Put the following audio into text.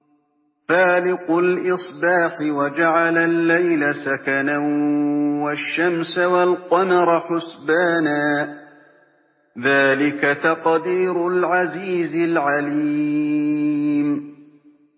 فَالِقُ الْإِصْبَاحِ وَجَعَلَ اللَّيْلَ سَكَنًا وَالشَّمْسَ وَالْقَمَرَ حُسْبَانًا ۚ ذَٰلِكَ تَقْدِيرُ الْعَزِيزِ الْعَلِيمِ